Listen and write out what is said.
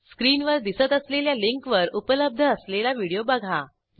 स्क्रीनवर दिसत असलेल्या लिंकवर उपलब्ध असलेला व्हिडिओ बघा